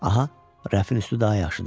Aha, rəfin üstü daha yaxşıdır.